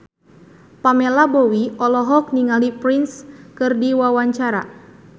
Pamela Bowie olohok ningali Prince keur diwawancara